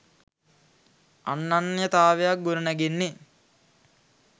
අනන්‍යතාවක් ගොඩනැගෙන්නෙ